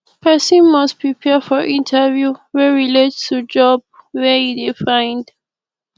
persin must prepare for interview wey relate to job wey e de find